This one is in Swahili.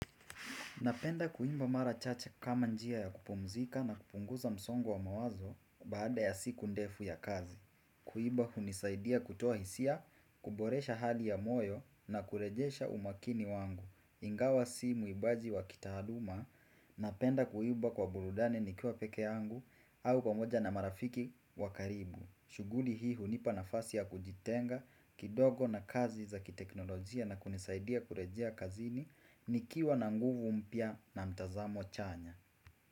Napenda kuimba mara chache kama njia ya kupumzika na kupunguza msongo wa mawazo baada ya siku ndefu ya kazi. Kuiba hunisaidia kutoa hisia, kuboresha hali ya moyo na kurejesha umakini wangu. Ingawa si muimbaji wa kitaaluma napenda kuimba kwa burudani nikiwa peke yangu au pamoja na marafiki wa karibu. Shughuli hii hunipa nafasi ya kujitenga kidogo na kazi za kiteknolojia na kunisaidia kurejea kazini. Nikiwa na nguvu mpya na mtazamo chanya.